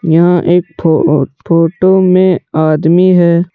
यहाँ एक ठो फोटो में आदमी है।